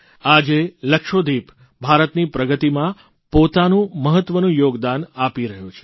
આજે લક્ષદ્વિપ ભારતની પ્રગતિમાં પોતાનું મહત્વનું યોગદાન આપી રહ્યો છે